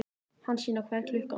Hansína, hvað er klukkan?